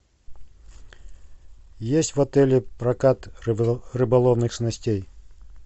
есть в отеле прокат рыболовных снастей